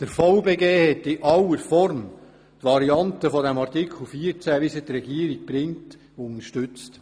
Der VBG hat in aller Form die Variante von Artikel 14, wie sie die Regierung vorschlägt, unterstützt.